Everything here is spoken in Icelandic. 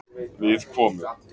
Við komu